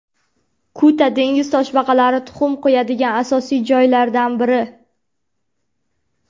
Kuta dengiz toshbaqalari tuxum qo‘yadigan asosiy joylardan biri.